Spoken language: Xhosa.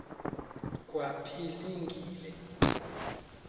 kwaphilingile